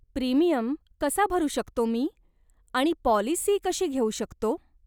Premium कसा भरू शकतो मी आणि पॉलिसी कशी घेऊ शकतो ?